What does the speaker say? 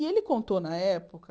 E ele contou, na época...